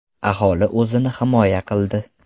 Aholi o‘zini himoya qildi.